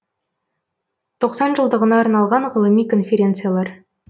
тоқсан жылдығына арналған ғылыми конференциялар